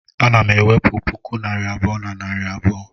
ana m enwepu puku naira abuo nari abuo